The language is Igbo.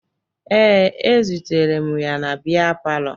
Ee, ezutere m ya na bịa palọ